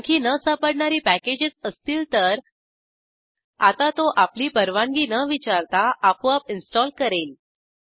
आणखी न सापडणारी पॅकेजेस असतील तर आता तो आपली परवानगी न विचारता आपोआप इंस्टॉल करेल